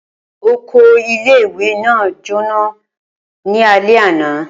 Oko ìle-ìwe naa jona ni alẹ ana.